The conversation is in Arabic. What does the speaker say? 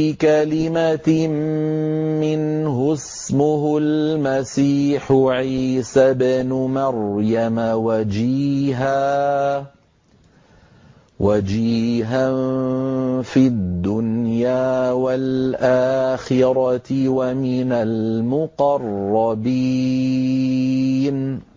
بِكَلِمَةٍ مِّنْهُ اسْمُهُ الْمَسِيحُ عِيسَى ابْنُ مَرْيَمَ وَجِيهًا فِي الدُّنْيَا وَالْآخِرَةِ وَمِنَ الْمُقَرَّبِينَ